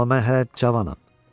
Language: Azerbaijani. Amma mən hələ cavanam.